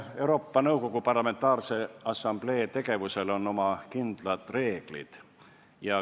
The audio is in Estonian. Euroopa Nõukogu Parlamentaarse Assamblee tegevusel on oma kindlad reeglid.